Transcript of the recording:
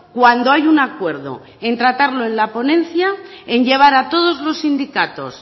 cuando hay un acuerdo en tratarlo en la ponencia en llevar a todos los sindicatos